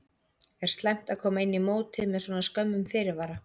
Er slæmt að koma inn í mótið með svona skömmum fyrirvara?